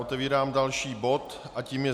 Otevírám další bod a tím je